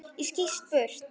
Ég skýst burt.